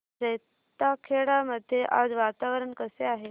जैताखेडा मध्ये आज वातावरण कसे आहे